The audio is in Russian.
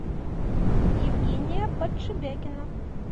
евгения подшибякина